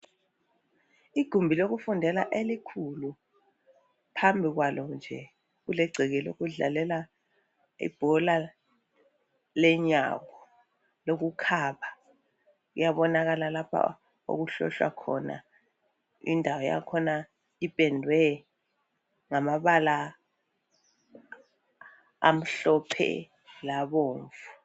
Igumbi lokufundela elikhulu. Phambi kwalo kulegceke lokudlalela ibhola lenyawo. Kuyabonakala lapho okuhlohlwa khona indawo yakhona ipendwe ngombala omhlophe lobomvu.